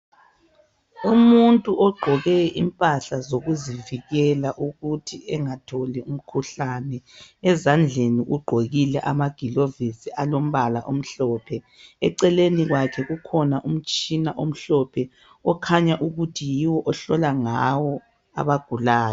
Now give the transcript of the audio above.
Umuntu ogqoke impahla zokuzivikela ukuthi engatholi umkhuhlane, ezandleni ugqokile amagilovisi alombala omhlophe, eceleni kwakhe kukhona umtshina omhlophe okhanya ukuthi yiwo ahlola ngawo abagulayo.